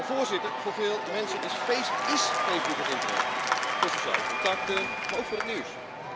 Voorzitter, voor veel mensen ís Facebook het internet, voor sociale contacten, maar ook voor het nieuws.